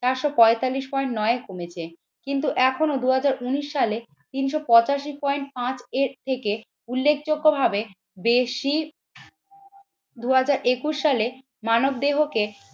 চারশো পঁয়তাল্লিশ পয়েন্ট নয় কমেছে। কিন্তু এখনও দুই হাজার উন্নিশ সালে তিনশো পঁচাশি পয়েন্ট পাঁচ এর থেকে উল্লেখযোগ্য ভাবে বেশি দুই হাজার একুশ সালে মানব দেহকে